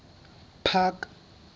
park